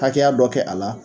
Hakɛya dɔ kɛ a la